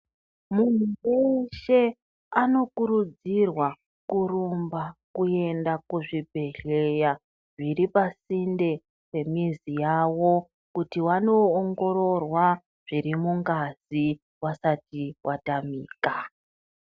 Munhu weshe anokurudzirwa kurumba kuenda kuzvibhedhleya zviri pasinde pemizi yawo kuti wanoongororwa zviri mungazi vasati vatamika.